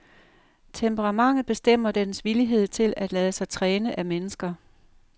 Temperamentet bestemmer dens villighed til at lade sig træne af mennesker.